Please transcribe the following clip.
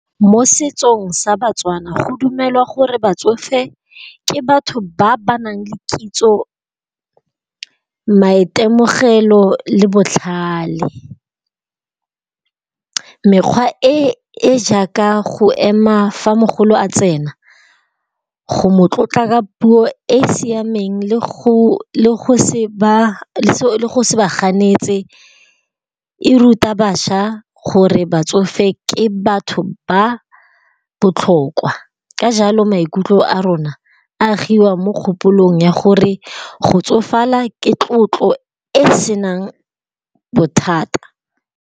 Mo setsong sa batswana go dumelwa gore batsofe ke batho ba ba nang le kitso, maitemogelo le botlhale. Mekgwa e jaaka go ema fa mogolo a tsena, go mo tlotla puo e siameng le go se ba ganetse e ruta bašwa gore batsofe ke batho ba botlhokwa. Ka jalo maikutlo a rona a agiwa mo kgopolong ya gore go tsofala ke tlotlo e se nang bothata.